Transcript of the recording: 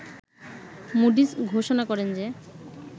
Moody's ঘোষণা করেন যে